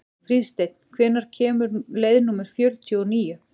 Fríðsteinn, hvenær kemur leið númer fjörutíu og níu?